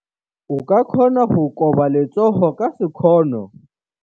O ka kgona go koba letsogo ka sekgono.